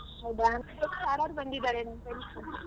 ಹೌದ, ಯಾರ್ಯಾರ್ ಬಂದಿದ್ದಾರೆ ನಿನ್ friends?